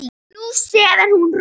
Nú sefur hún rótt.